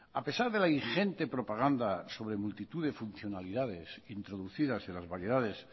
a pesar de la ingente propaganda sobre multitud de funcionalidades introducidas en las variedades